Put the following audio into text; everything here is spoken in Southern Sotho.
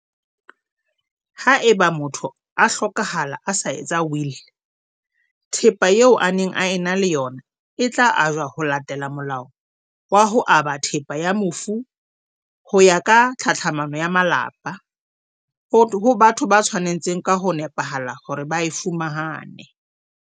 Haeba motho a hlokahala a sa etsa wili, thepa eo a neng a ena le ona e tla ajwa ho latela Molao wa ho Aba Thepa ya Mofu ho ya ka Tlhatlhamano ya Malapa, ho batho ba tshwa netseng ka ho nepahala hore ba e fumane.